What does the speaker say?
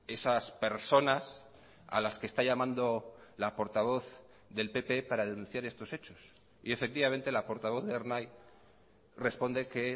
esas personas a las que está llamando la portavoz del pp para denunciar estos hechos y efectivamente la portavoz de ernai responde que